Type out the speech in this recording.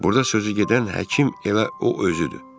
burda sözü gedən həkim elə o özüdür.